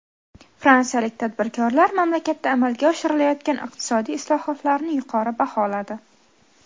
Fransiyalik tadbirkorlar mamlakatda amalga oshirilayotgan iqtisodiy islohotlarni yuqori baholadi.